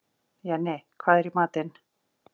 Jenni, hvað er í matinn?